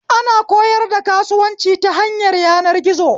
Ana koyar da kasuwanci ta hanyar yanar gizo